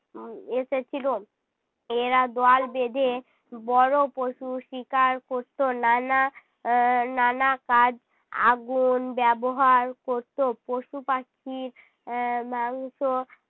উম এসেছিলো। এরা দল বেঁধে বড় পশু শিকার করতো। নানা আহ নানা কাজ আগুন ব্যবহার করতো। পশু-পাখির এর মাংস